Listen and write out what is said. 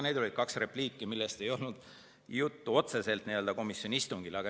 Need olid kaks repliiki, millest ei olnud otseselt juttu komisjoni istungil.